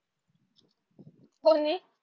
कोनी